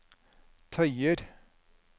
tøyer